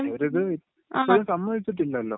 ഇവരിത് ഇപ്പഴും സമ്മതിച്ചിട്ടില്ലല്ലോ..